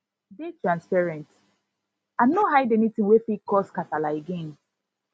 dey transparent and no hide anytin wey fit cause kasala again